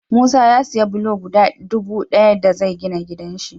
Musa ya siya bulo guda dubu daya da zai gina gidan shi